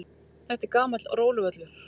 Þetta er gamall róluvöllur.